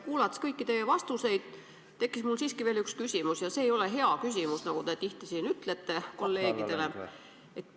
Kuulates kõiki teie vastuseid, tekkis mul siiski veel üks küsimus ja see ei ole hea küsimus, nagu te tihti siin kolleegidele ütlete.